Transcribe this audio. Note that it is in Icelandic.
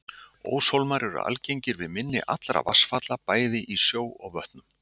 Óshólmar eru algengir við mynni allra vatnsfalla, bæði í sjó og vötnum.